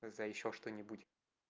когда ещё что-нибудь